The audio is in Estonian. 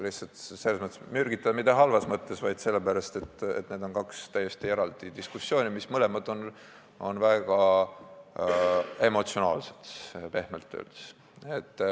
Mitte "mürgitada" halvas mõttes, vaid sellepärast, et need on kaks täiesti eraldi diskussiooni, mis mõlemad on pehmelt öeldes väga emotsionaalsed.